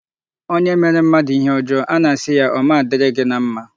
Onye mere mmadụ ihe ọjọọ, a na asị ya ọ ma dịrị gị na mma.